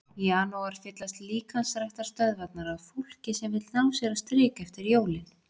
Í janúar fyllast líkamsræktarstöðvarnar af fólki sem vill ná sér á strik eftir jólin.